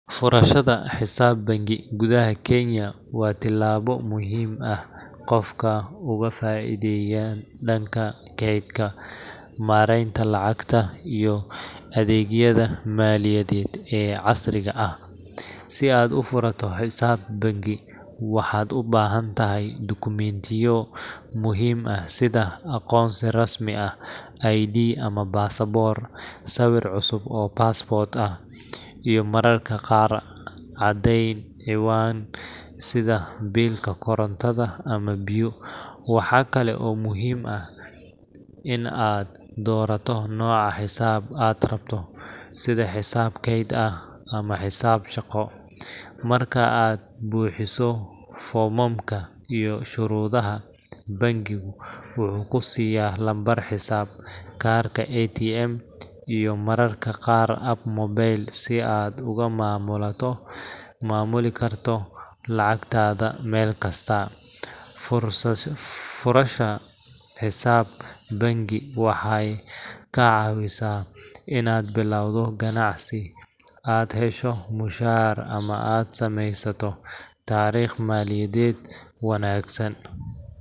Furashada xisaab bangi gudaha Kenya waa tallaabo muhiim ah qofka uga faa’iideeyaan dhanka kaydka, maaraynta lacagta, iyo adeegyada maaliyadeed ee casriga ah. Si aad u furato xisaab bangi, waxaad u baahantahay dukumiintiyo muhiim ah sida: aqoonsi rasmi ah ID ama baasaboor, sawir cusub oo passport ah, iyo mararka qaar caddeyn ciwaan sida biilka korontada ama biyo. Waxa kale oo muhiim ah in aad doorato nooca xisaab aad rabto – sida xisaab kayd ah ama xisaab shaqo. Marka aad buuxiso foomamka iyo shuruudaha, bangigu wuxuu ku siyaa lambar xisaab, kaarka ATM, iyo mararka qaar app mobile si aad uga maamulato ,maamuli karto lacagtaada meel kasta. Furshasa Furashada xisaab bangi waxay kaa caawisaa inaad bilowdo ganacsi, aad hesho mushaar, ama aad samaysato taariikh maaliyadeed wanaagsan